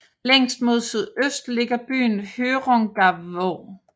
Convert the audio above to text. Længst mod sydøst ligger byen Hjørungavåg